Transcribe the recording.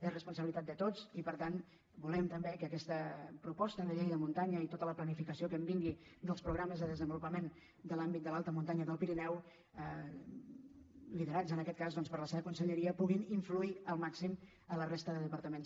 és responsabilitat de tots i per tant volem també que aquesta proposta de llei de muntanya i tota la planificació que vingui dels programes de desenvolupament de l’àmbit de l’alta muntanya del pirineu liderats en aquest cas per la seva conselleria puguin influir al màxim la resta de departaments